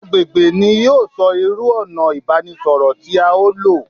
Agbègbè ni yóò sọ irú ònà ìbánisọ̀rọ̀ tí à o lò